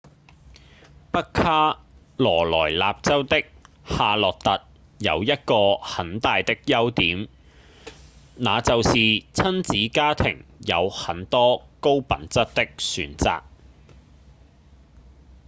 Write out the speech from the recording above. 北卡羅萊納州的夏洛特有一個很大的優點那就是親子家庭有很多高品質的選擇